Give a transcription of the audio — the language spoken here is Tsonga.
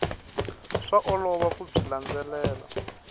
swa olova ku byi landzelela